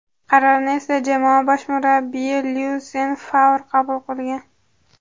Qarorni esa jamoa bosh murabbiyi Lyusen Favr qabul qilgan.